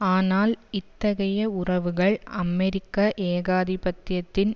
ஆனால் இத்தகைய உறவுகள் அமெரிக்க ஏகாதிபத்தியத்தின்